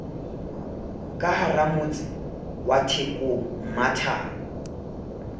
ka haramotse wa thekong mmathabo